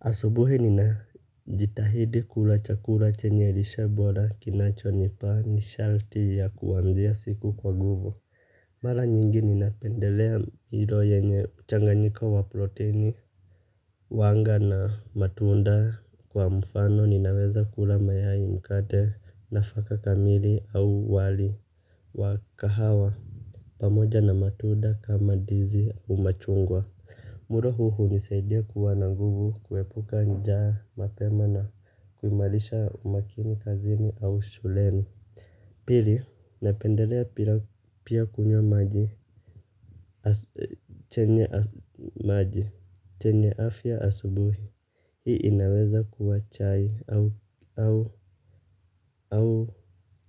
Asubuhi nina jitahidi kula chakula chenye lishe bora kinachonipa nishati ya kuanzia siku kwa nguvu. Mara nyingi ninapendelea hilo yenye mchanganyiko wa protini. Wanga na matunda kwa mfano ninaweza kula mayai mkate nafaka kamili au wali. Wa kahawa pamoja na matunda kama ndizi umachungwa. Mulo huu hunisaidia kuwa na nguvu, kuepuka njaa, mapema na kuimarisha umakini kazini au shuleni. Pili, napendelea pia kunywa maji chenye afya asubuhi. Hii inaweza kuwa chai au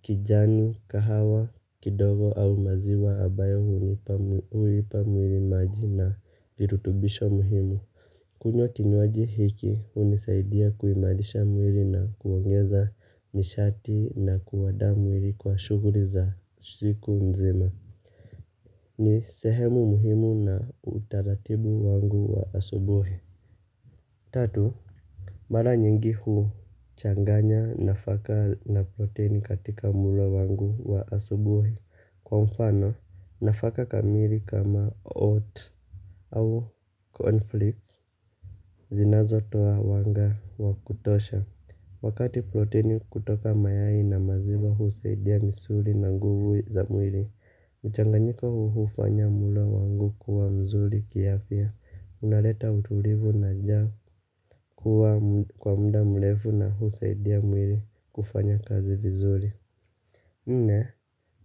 kijani, kahawa, kidogo au maziwa ambayo huipa mwili maji na virutubisho muhimu. Kunywa kinywaji hiki hunisaidia kuimarisha mwili na kuongeza nishati na kuanda mwili kwa shughuli za siku nzima. Ni sehemu muhimu na utaratibu wangu wa asubuhi. Tatu. Mara nyingi huu changanya nafaka na protini katika mulo wangu wa asubuhi kwa mfano nafaka kamili kama oat. Au conflicts zinazo toa wanga wakutosha. Wakati protini kutoka mayai na maziwa husaidia misuli na nguvu za mwili. Mchanganyiko huu hufanya mulo wangu kuwa mzuri kiafya. Unaleta utulivu na njaa kuwa kwa mda mrefu na husaidia mwili kufanya kazi vizuri nne,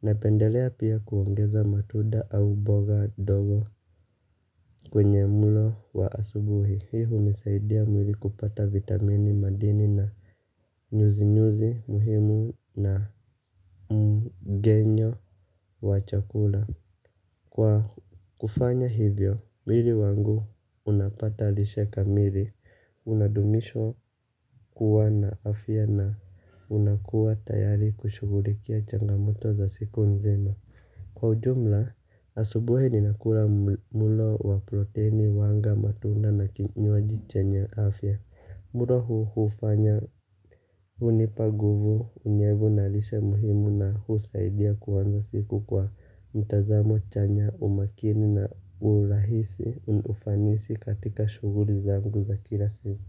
napendelea pia kuongeza matunda au mboga dogo kwenye mulo wa asubuhi. Hii hunisaidia mwili kupata vitamini madini na nyuzi-nyuzi muhimu na mgenyo wa chakula. Kwa kufanya hivyo, mwili wangu unapata lishe kamili. Unadumishwa kuwa na afya na unakuwa tayari kushughulikia changamoto za siku nzima. Kwa ujumla, asubuhi ninakula mulo wa protini wanga matunda na kinywaji chenye afya. Mulo huu hufanya hunipa nguvu unyevu na lishe muhimu na husaidia kuanza siku kwa mtazamo chanya umakini na urahisi unaufanisi katika shughuli zangu za kila siku.